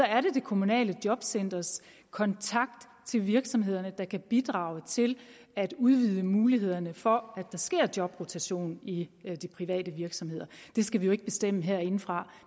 er det det kommunale jobcenters kontakt til virksomhederne der kan bidrage til at udvide mulighederne for at der sker jobrotation i de private virksomheder det skal vi jo ikke bestemme herindefra